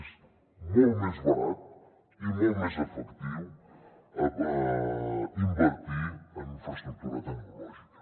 és molt més barat i molt més efectiu invertir en infraestructura tecnològica